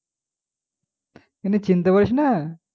কি চিনতে পারিস না?